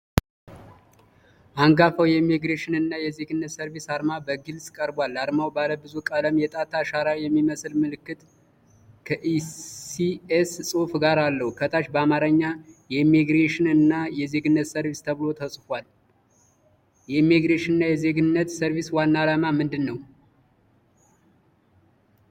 አንጋፋው የኢሚግሬሽን እና የዜግነት ሰርቪስ አርማ በግልጽ ቀርቧል። አርማው ባለ ብዙ ቀለም የጣት አሻራ የሚመስል ምልክት ከኢ ሲ ኤስ ጽሁፍ ጋር አለው። ከታች በአማርኛ "የኢሚግሬሽን እና የዜግነት ሰርቪስ" ተብሎ ተጽፏል። የኢሚግሬሽን እና የዜግነት ሰርቪስ ዋና ዓላማ ምንድን ነው?